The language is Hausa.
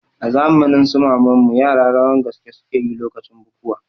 A zamanin su maman mu yara rawan gaske suke yi lokacin bukuwa